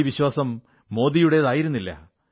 ഈ വിശ്വാസം മോദിയുടേതായിരുന്നില്ല